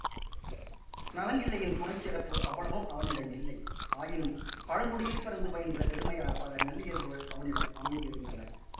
நலங்கிள்ளியின் குணச்சிறப்பு அவ்வளவும் அவனிடம் இல்லை ஆயினும் பழங்குடியில் பிறந்து பயின்ற பெருமையால் பல நல்லியல்புகள் அவனிடம் அமைந்திருந்தன